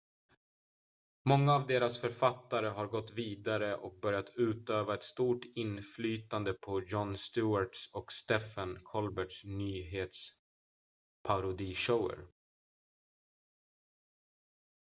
många av deras författare har gått vidare och börjat utöva ett stort inflytande på jon stewarts och stephen colberts nyhetsparodishower